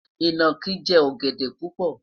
inaki jẹ ogede pupo